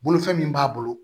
Bolofɛn min b'a bolo